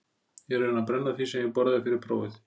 Ég er að reyna að brenna því sem ég borðaði fyrir prófið